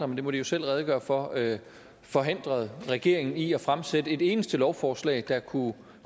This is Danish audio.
men det må de jo selv redegøre for forhindret regeringen i at fremsætte et eneste lovforslag der kunne